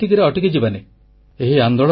ଆମେ କିନ୍ତୁ ଏତିକିରେ ଅଟକିଯିବାନି